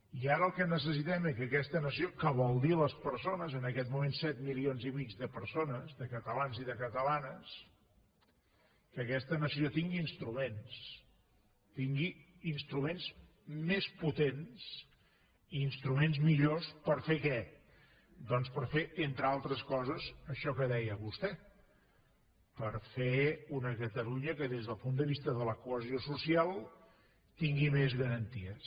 i ara el que necessitem és que aquesta nació que vol dir les persones en aquest moment set milions i mig de persones de catalans i de catalanes que aquesta nació tingui instruments tingui instruments més potents i instruments millors per fer què doncs per fer entre altres coses això que deia vostè per fer una catalunya que des del punt de vista de la cohesió social tingui més garanties